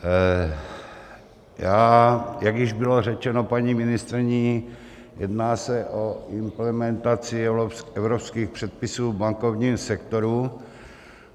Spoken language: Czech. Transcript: Jak již bylo řečeno paní ministryní, jedná se o implementaci evropských předpisů v bankovním sektoru.